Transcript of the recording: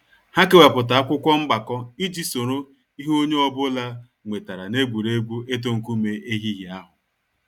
Ha kewapụta akwụkwọ mgbako iji soro ihe onye ọ bụla nwetara n’egwuregwu itu nkume ehihie ahụ